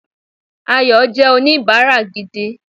Ayò jé oníbáárà gidi